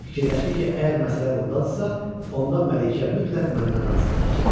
Fikirləşdi ki, əgər məsələ bundadırsa, onda Məlikə mütləq məndən razı qalacaq.